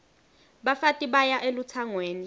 bafati baya elutsangweni